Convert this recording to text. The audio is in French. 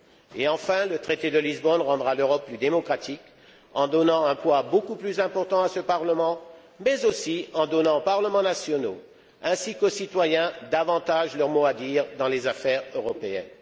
Et enfin, le traité de Lisbonne rendra l'Europe plus démocratique en donnant un poids beaucoup plus important à ce Parlement, mais aussi en donnant aux parlements nationaux ainsi qu'aux citoyens davantage leur mot à dire dans les affaires européennes.